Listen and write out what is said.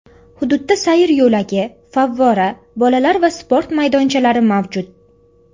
Hududda sayr yo‘lagi, favvora, bolalar va sport maydonchalari mavjud.